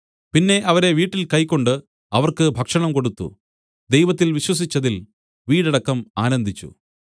പിന്നെ അവരെ വീട്ടിൽ കൈക്കൊണ്ട് അവർക്ക് ഭക്ഷണം കൊടുത്തു ദൈവത്തിൽ വിശ്വസിച്ചതിൽ വീടടക്കം ആനന്ദിച്ചു